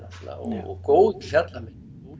og góðir fjallamenn